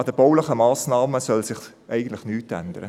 An den baulichen Massnahmen soll sich eigentlich nichts ändern.